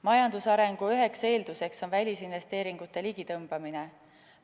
Majandusarengu üks eeldus on välisinvesteeringute ligitõmbamine.